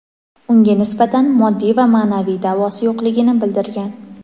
unga nisbatan moddiy va ma’naviy da’vosi yo‘qligini bildirgan.